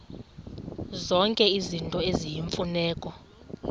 zonke izinto eziyimfuneko